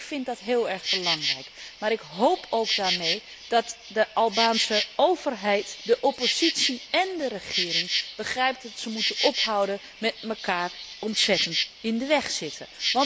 Ik vind dat heel erg belangrijk, maar ik hoop ook dat daarmee de Albanese overheid, de oppositie en de regering begrijpen dat ze moeten ophouden met elkaar ontzettend in de weg zitten.